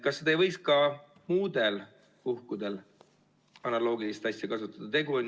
Kas ei võiks ka muudel puhkudel analoogilist asja kasutada?